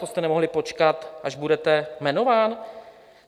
To jste nemohl počkat, až budete jmenován?